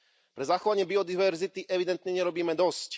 Pre zachovanie biodiverzity evidentne nerobíme dosť.